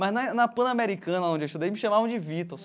Mas na na Pan Americana, onde eu estudei, me chamavam de Vitor.